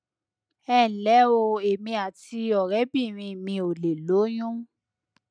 ẹ nlẹ o èmi àti ọrẹbìnrin mi ò lè lóyún